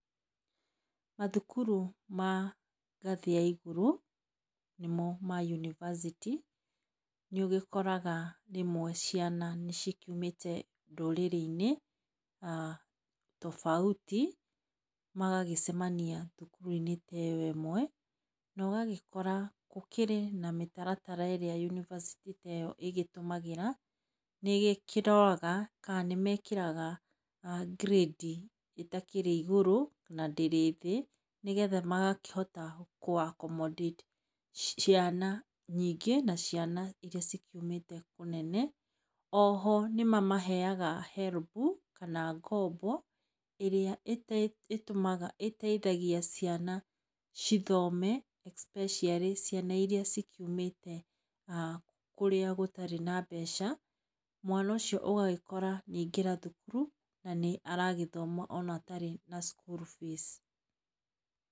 Mathukuru ma ngathĩ ya igũrũ, nĩmo ma yunibacitĩ, nĩũgĩkoraga rĩmwe ciana nĩigĩkiumĩte ndũrĩrĩ-inĩ tobauti, magagĩcemania thukuru-inĩ teyo ĩmwe, nogagĩkora gũkĩrĩ na mĩtaratara ĩrĩa yunibacĩtĩ teyo ĩgĩtũmagĩra, nĩĩgĩkĩroraga kana nĩmekĩraga ngirĩndi itakĩrĩ igũrũ, na ndĩrĩ thĩ, nĩetha magakĩhota kũ accommodate ciana nyingĩ na ciana iria cikiumĩte kũnene. Oho nĩmamaheaga HELB kana ngombo ĩrĩa ĩteithagia ciana cithoome especially ciana iria cikiumĩte kũrĩa gũtarĩ na mbeca, mwana ũcio ũgagĩkora nĩaingĩra thukuru na nĩ aragĩthoma ona atarĩ na school fees.